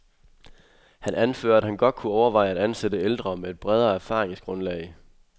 Han anfører, at han godt kunne overveje at ansatte ældre med et bredere erfaringsgrundlag.